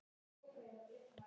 Ég hikaði.